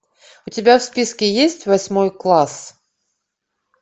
у тебя в списке есть восьмой класс